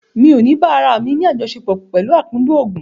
Mi ò bá ará mi àjọsepọ̀ pẹ̀lú akúndùn òògùn.